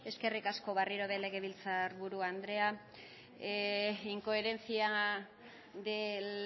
eskerrik asko barriro ere legebiltzar buru andrea incoherencia del